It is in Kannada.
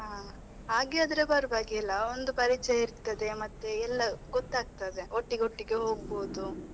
ಹಾ ಹಾ ಹಾಗೆ, ಆದ್ರೆ ಪರ್ವಾಗಿಲ್ಲ ಒಂದು ಪರಿಚಯ ಇರ್ತದೆ ಮತ್ತೆ ಎಲ್ಲ ಗೊತ್ತಾಗ್ತದೆ, ಒಟ್ಟಿಗೆ ಒಟ್ಟಿಗೆ ಹೋಗ್ಬೋದು.